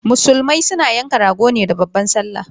Musulmai na yanka rago ne da babban sallah